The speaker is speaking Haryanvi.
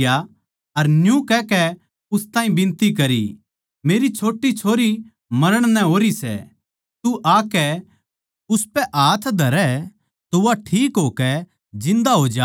अर न्यू कहकै उस ताहीं बिनती करी मेरी छोट्टी छोरी मरण नै होरी सै तू आकै उसपै हाथ धरै तो वा ठीक होकै जिन्दा हो जावै